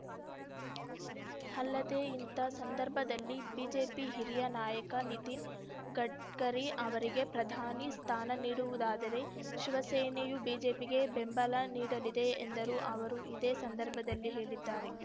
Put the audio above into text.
ಅಲ್ಲದೆ ಇಂಥ ಸಂದರ್ಭದಲ್ಲಿ ಬಿಜೆಪಿ ಹಿರಿಯ ನಾಯಕ ನಿತಿನ್‌ ಗಡ್ಕರಿ ಅವರಿಗೆ ಪ್ರಧಾನಿ ಸ್ಥಾನ ನೀಡುವುದಾದರೆ ಶಿವಸೇನೆಯು ಬಿಜೆಪಿಗೆ ಬೆಂಬಲ ನೀಡಲಿದೆ ಎಂದರು ಅವರು ಇದೇ ಸಂದರ್ಭದಲ್ಲಿ ಹೇಳಿದ್ದಾರೆ